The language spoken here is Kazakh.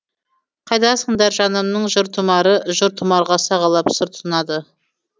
қайдасыңдар жанымның жыр тұмары жыр тұмарға сағалап сыр тұнады